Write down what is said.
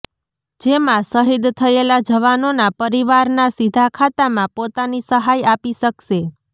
જેમાં શહિદ થયેલા જવાનોના પરિવારના સીધા ખાતામાં પોતાની સહાય આપી શકશે